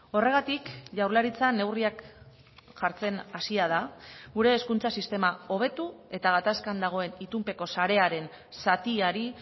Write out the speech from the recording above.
horregatik jaurlaritza neurriak jartzen hasia da gure hezkuntza sistema hobetu eta gatazkan dagoen itunpeko sarearen zatiari